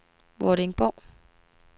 Vordingborg